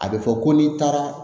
A bɛ fɔ ko n'i taara